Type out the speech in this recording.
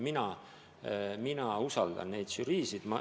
Mina usaldan neid žüriisid.